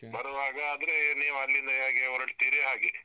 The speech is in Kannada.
ಬರುವಾಗ ಆದ್ರೆ, ನೀವು ಅಲ್ಲಿಂದ ಹೇಗೆ ಹೊರಡ್ತೀರಿ ಹಾಗೆ.